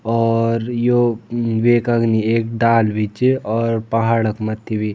और यो वेक अगने एक डाल भी च और पहाड़ क मत्थी भी।